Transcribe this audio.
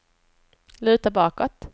luta bakåt